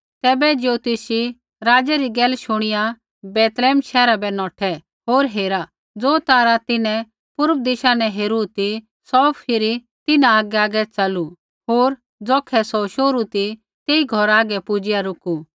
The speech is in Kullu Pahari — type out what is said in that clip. तैबै ज्योतिषी राज़ै री गैल शुणिया बैतलैहम शैहरा बै नौठै होर हेरा ज़ो तारा तिन्हैं पूर्व दिशा न हेरू ती सौ फिरी तिन्हां आगैआगै च़लू होर ज़ौखै सौ शोहरू ती तेई घौरा हागै पुजिआ रुकु